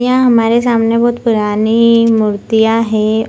यहां हमारे सामने बहुत पुरानी मूर्तियां हे।